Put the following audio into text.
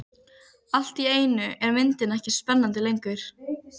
Allt í einu er myndin ekki spennandi lengur.